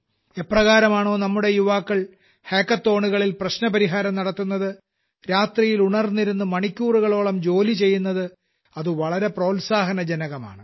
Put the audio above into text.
എപ്രകാരമാണോ നമ്മുടെ യുവാക്കൾ ഹക്കത്തോണുകളിൽ പ്രശ്നപരിഹാരം നടത്തുന്നത് രാത്രിയിൽ ഉണർന്നിരുന്ന് മണിക്കൂറുകളോളം ജോലി ചെയ്യുന്നത് അത് വളരെ പ്രോൽസാഹനജനകമാണ്